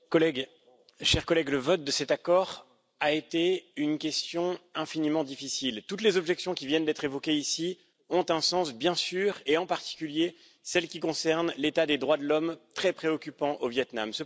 Madame la Présidente, chers collègues, le vote de cet accord a été une question infiniment difficile. Toutes les objections qui viennent d'être évoquées ici ont un sens, bien sûr, et en particulier celles qui concernent l'état des droits de l'homme, très préoccupant, au Viêt Nam.